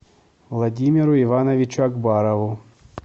владимиру ивановичу акбарову